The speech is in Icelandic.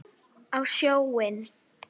Á sjóinn?